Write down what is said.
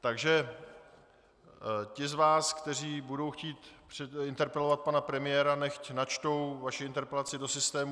Takže ti z vás, kteří budou chtít interpelovat pana premiéra, nechť načtou svoji interpelaci do systému.